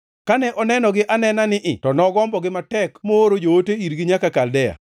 Kane onenogi anena nii to nogombogi matek mooro joote irgi nyaka Kaldea.